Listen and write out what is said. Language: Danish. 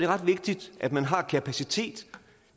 ret vigtigt at man har kapacitet